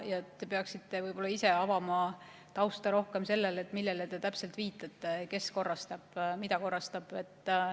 Te peaksite võib-olla ise tausta rohkem avama, et millele te täpselt viitate, kes korrastab ja mida korrastab.